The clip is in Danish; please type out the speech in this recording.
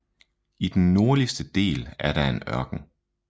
I den nordligste del er der en ørken